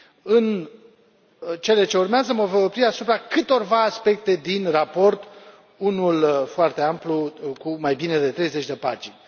În cele ce urmează mă voi opri asupra câtorva aspecte din raport, unul foarte amplu, cu mai bine de treizeci de pagini.